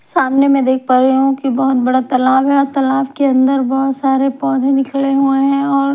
सामने मैं देख पा रही हूं कि बहुत बड़ा तालाब है और तालाब के अंदर बहुत सारे पौधे निकले हुए हैं और--